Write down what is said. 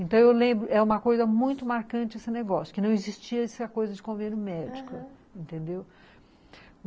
Então eu lembro, é uma coisa muito marcante esse negócio, que não existia essa coisa de convênio médico, entendeu? aham